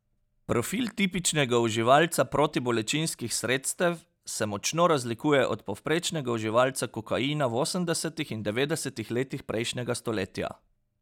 Profil tipičnega uživalca protibolečinskih sredstev se močno razlikuje od povprečnega uživalca kokaina v osemdesetih in devetdesetih letih prejšnjega stoletja.